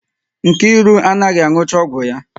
Nkiru anaghị anụcha ọgwụ ya.